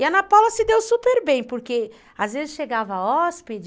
E a Ana Paula se deu super bem, porque às vezes chegava hóspede